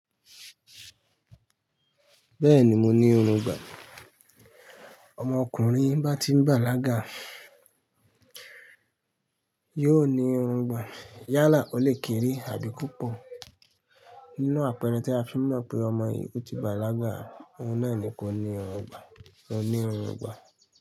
Bẹ́ẹ̀ni mo ní irùngbọ̀n. Ọmọ ọkùnrin bá ti ń bàlágà yóò ní irùngbọ̀n. Yálà ó lè kéré àbí púpọ̀. Nínú àpẹẹrẹ tí a fi ń mọ̀ pé ọmọ yìí ó ti bàlágà, oun náà ni kó ní irùngbọ̀n. Ó ní irun gbà.